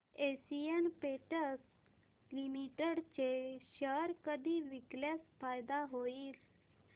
Asian Paints Limited चे share कधी विकल्यास फायदा होईल